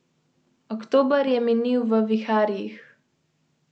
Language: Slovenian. Pošiljko bodo prevzele pristojne službe in jo odnesle na analizo.